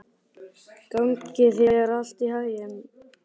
Gangi þér allt í haginn, Ástveig.